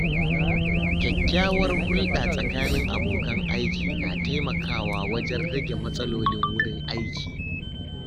Kyakkyawar hulɗa tsakanin abokan aiki na taimakawa wajen rage matsalolin wurin aiki.